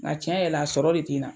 Nga cɛn yɛrɛ la, a sɔrɔ de te n na.